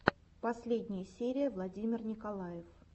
последняя серия владимир николаев